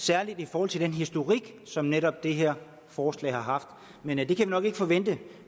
særlig i forhold til den historik som netop det her forslag har haft men det kan vi nok ikke forvente